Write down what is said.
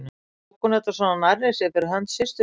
Eða tók hún þetta svona nærri sér fyrir hönd systur sinnar?